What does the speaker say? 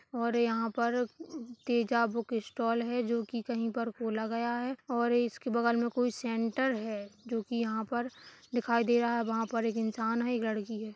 और यहाँ पर तेजा बुक स्टॉल है जो कहीं पर खोला गया है और इसकी बगल में एक सेंटर है जो कि यहाँ पर दिखाई दे रहा है वहाँ पर एक इंसान है एक लड़की है।